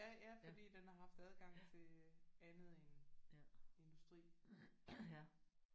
Ja ja fordi den har haft adgang til andet end industri